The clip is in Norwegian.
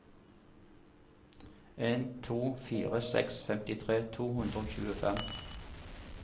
en to fire seks femtitre to hundre og tjuefem